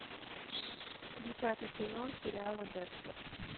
десятый сезон сериала декстер